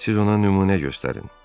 Siz ona nümunə göstərin.